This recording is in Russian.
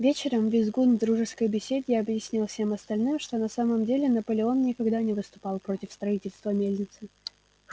вечером визгун в дружеской беседе объяснил всем остальным что на самом деле наполеон никогда не выступал против строительства мельницы